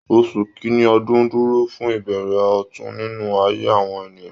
Oṣù kìnní ọdun dúró fún ìbẹ̀rẹ̀ ọ̀tun nínú ayé àwọn ènìyàn